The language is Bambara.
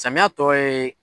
Samiyan tɔ ye